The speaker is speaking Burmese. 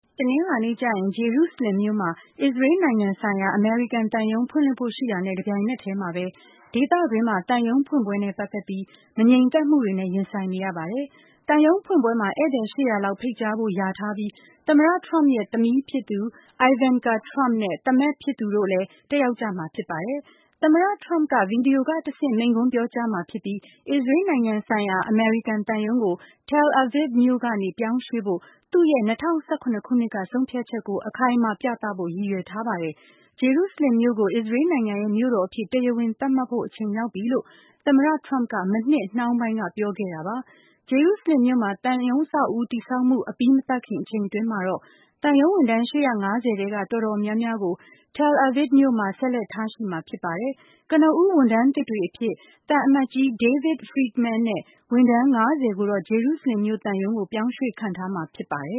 တနင်္လာနေ့ကျရင် ဂျေရုဆလင်မြို့မှာ အစ္စရေးနိုင်ငံဆိုင်ရာ အမေရိကန်သံရုံးဖွင့်လှစ်ဖို့ရှိတာနဲ့ တပြိုင်နက်ထဲမှာပဲ ဒေသတွင်းမှာ သံရုံးဖွင့်ပွဲနဲ့ ပတ်သက်ပြီး မငြိမ်သက်မှုတွေနဲ့ ရင်ဆိုင်နေရပါတယ်၊၊ သံရုံးဖွင့်ပွဲမှာ ဧည့်သည် ၈၀၀ လောက်ဖိတ်ကြားဖို့ ရာထားပြီး သမ္မတ Trump ရဲ့သမီးဖြစ်သူ Ivanka Trump နဲ့ သားမက်ဖြစ်သူ Jared Kushner တို့လည်းတက်ရောက်မှာဖြစ်ပါတယ်၊၊ သမ္မတ Trump က ဗီဒီယိုကတဆင့် မိန့်ခွန်းပြောကြားမှာဖြစ်ပြီး အစ္စရေး နိုင်ငံဆိုင်ရာ အမေရိကန်သံရုံးကို Tel Aviv မြို့ကနေ ပြောင်းရွှေ့ဖို့သူ့ရဲ့ ၂၀၁ရ ခုနှစ်ကဆုံးဖြတ်ချက်ကို အခိုင်အမာပြသဖို့ရည်ရွယ်ထားပါတယ်၊၊ ဂျေရုဆလင်မြို့ကို အစ္စရေးနိုင်ငံရဲ့ မြို့တော်အဖြစ် တရားဝင်သတ်မှတ်ဖို့အချိန်ရောက်ပြီလို့ သမ္မတ Trump က မနှစ်နှောင်းပိုင်းကပြောခဲ့တာပါ၊၊ ဂျေရုဆလင်မြို့မှာ သံရုံး အဆောက်အဦးတည်ဆောက်မှုအပြီး မသတ်ခင်အချိန်တွင်း မှာတော့ သံရုံးဝန်ထမ်း ၈၅၀ ထဲက တော်တော်များများကို Tel Aviv မြို့မှာ ဆက်လက်ထားရှှိမှာဖြစ်ပါတယ်၊၊ ကနဦး ဝန်ထမ်းသစ်တွေအဖြစ် သံအမတ်ကြီး David Friedman နဲ့ ဝန်ထမ်း ၅၀ ကိုတော့ ဂျေရုဆလင်မြို့ သံရုံးကို ပြောင်းရွှေ့ခန့်ထားမှာဖြစ်ပါတယ